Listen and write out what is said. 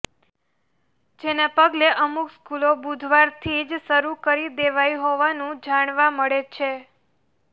જેના પગલે અમુક સ્કૂલો બુધવારથી જ શરૂ કરી દેવાઈ હોવાનું જાણવા મળે છે